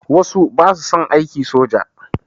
Wasu ba su son aiki soja.